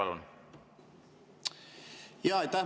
Jaa, aitäh!